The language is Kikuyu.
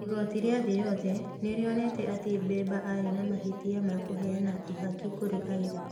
Igooti rĩa Thĩ Yothe nĩ rĩonete atĩ Bemba aarĩ na mahĩtiaarĩ ma kũheana ihaki kũrĩ aira